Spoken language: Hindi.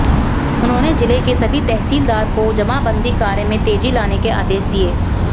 उन्होंने जिले के सभी तहसीलदार को जमाबंदी कार्य में तेजी लाने के आदेश दिए